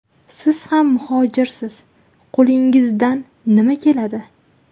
Siz ham muhojirsiz, qo‘lingizdan nima keladi?